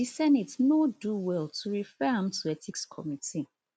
di senate no do well to refer am to ethics committee